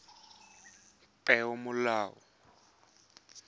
peomolao